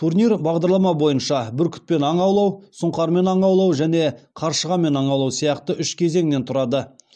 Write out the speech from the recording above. турнир бағдарлама бойынша бүркітпен аң аулау сұңқармен аң аулау және қаршығамен аң аулау сияқты үш кезеңнен тұрады